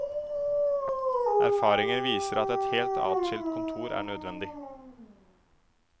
Erfaringer viser at et helt atskilt kontor er nødvendig.